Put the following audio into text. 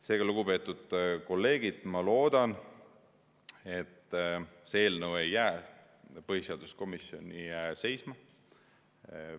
Seega, lugupeetud kolleegid, ma loodan, et see eelnõu ei jää põhiseaduskomisjoni seisma.